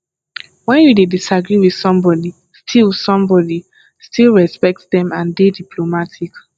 when you dey disagree with somebody still somebody still respect them and dey diplomatic